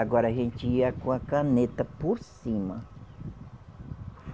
Agora a gente ia com a caneta por cima.